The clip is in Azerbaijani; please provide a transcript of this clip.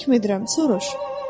Hökm edirəm, soruş.